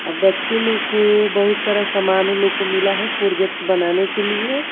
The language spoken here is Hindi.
अब बच्चे लोग को बहुत सारा सामान उन लोग को मिला है प्रोजेक्ट बनाने के लिए।